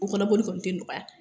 O kɔnɔ bɔli kɔni te nɔgɔya